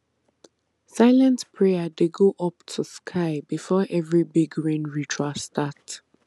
silent prayer dey go up to sky before every big rain ritual start